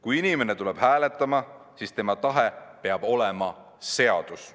Kui inimene tuleb hääletama, siis tema tahe peab olema seadus.